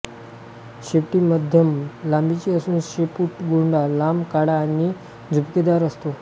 शेपटी मध्यम लांबीची असून शेपुटगोंडा लांब काळा आणि झुपकेदार असतो